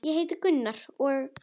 Ég heiti Gunnar og.